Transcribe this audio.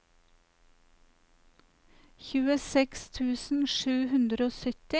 tjueseks tusen sju hundre og sytti